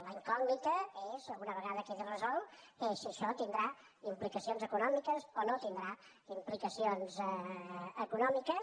la incògnita és una vegada quedi resolt si això tindrà implicacions econòmiques o no tindrà implicacions econòmiques